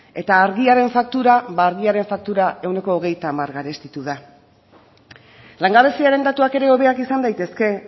eta argiaren faktura ba argiaren faktura ehuneko hogeita hamar garestitu da langabeziaren datuak ere hobeak izan daitezke